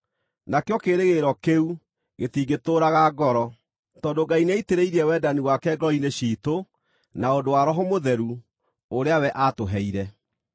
Nakĩo kĩĩrĩgĩrĩro kĩu gĩtingĩtũũraga ngoro, tondũ Ngai nĩaitĩrĩirie wendani wake ngoro-inĩ ciitũ na ũndũ wa Roho Mũtheru, ũrĩa we aatũheire.